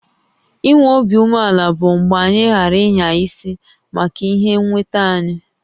I nwé obi umeàlà bụ mgbe anyị ghààrà ịnya isi maka ihé nwétá anyị